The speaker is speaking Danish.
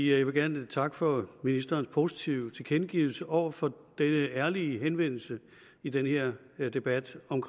jeg vil gerne takke for ministerens positive tilkendegivelse over for ærlige henvendelse i den her debat om